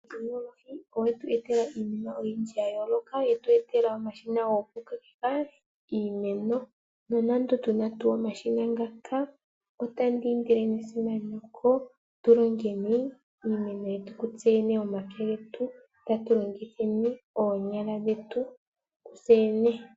otekinolohi oyetu etela iinima oyindji ya yooloka, yetu etela omashina goku kokeka iimeno nonando tuna tuu omashina ngaka, otandi indile nesimaneko tu longeni iimeno tsee yene moma pya getu tatu longitheni oonyala dhetu tseyene.